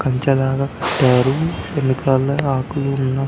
కంచదార ఎనకాలే ఆకులు ఉన్నాయ్.